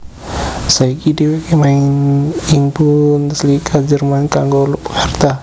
Saiki dhèwèké main ing Bundesliga Jerman kanggo klub Hertha